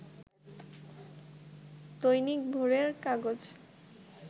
দৈনিক ভোরের কাগজ